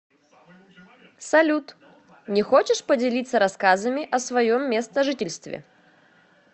салют не хочешь поделиться рассказами о своем местожительстве